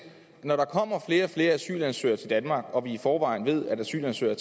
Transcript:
når der kommer flere og flere asylansøgere til danmark og når vi i forvejen ved at asylansøgere